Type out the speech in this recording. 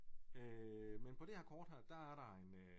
Men på det her kort der er der en øh